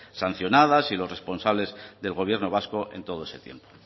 sancionadas y los responsables del gobierno vasco en todo ese tiempo